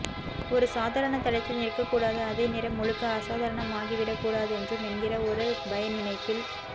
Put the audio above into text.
ஒரு சாதரண தளத்தில் நிற்கக்கூடாது அதே நேரம் முழுக்க அசாதரணமாகிவிடக்கூடாதென்றும் என்கிற ஒரு பயநினைப்பில்